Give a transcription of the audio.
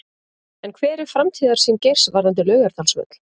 En hver er framtíðarsýn Geirs varðandi Laugardalsvöll?